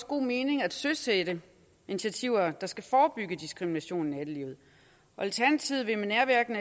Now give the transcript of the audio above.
god mening at søsætte initiativer der skal forebygge diskrimination i nattelivet og alternativet vil med nærværende